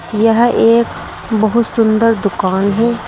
यह एक बहुत सुंदर दुकान है।